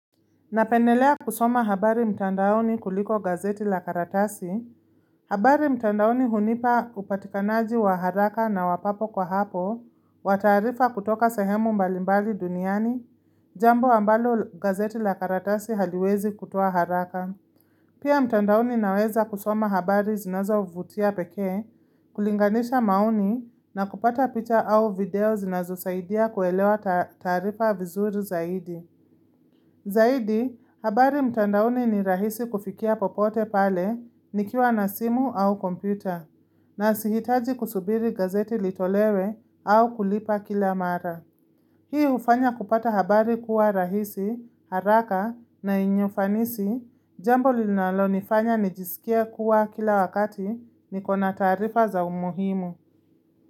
Napendelea kusoma habari mtandaoni kuliko gazeti la karatasi. Habari mtandaoni hunipa upatikanaji wa haraka na wa papo kwa hapo, wa taarifa kutoka sahemu mbalimbali duniani, jambo ambalo gazeti la karatasi haliwezi kutoa haraka. Pia mtandaoni naweza kusoma habari zinazo vutia pekee, kulinganisha maoni na kupata picha au video zinazosaidia kuelewa taarifa vizuri zaidi. Zaidi, habari mtandauni ni rahisi kufikia popote pale nikiwa na simu au kompyuta, na sihitaji kusubiri gazeti litolewe au kulipa kila mara. Hii hufanya kupata habari kuwa rahisi, haraka na yenye ufanisi, jambo linalonifanya nijisikia kuwa kila wakati niko na taarifa za umuhimu.